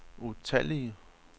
utallige